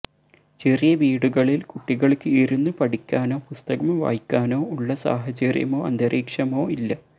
ചെറിയ വീടുകളില് കുട്ടികള്ക്ക് ഇരുന്ന് പഠിക്കാനോ പുസ്തകം വായിക്കാനോ ഉള്ള സാഹചര്യമോ അന്തരീക്ഷമോ ഇല്ല